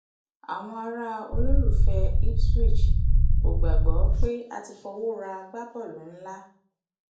àwọn ará olólùfẹ ipswich kò gbàgbọ pé a ti fọwọ ra agbábọọlù ńlá